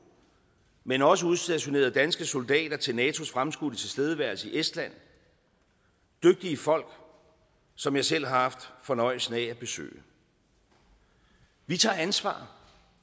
men også udstationeret danske soldater til natos fremskudte tilstedeværelse i estland dygtige folk som jeg selv har haft fornøjelsen at besøge vi tager ansvar